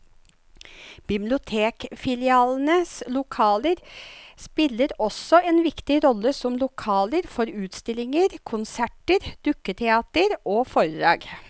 Bibliotekfilialenes lokaler spiller også en viktig rolle som lokaler for utstillinger, konserter, dukketeater og foredrag.